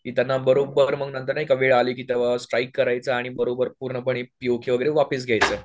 की त्यांना बरोबर मग नंतर नाही का वेळ आली की तेंव्हा स्ट्राईक करायचं आणि बरोबर पूर्णपणे पीओकेवापीस घ्यायचं.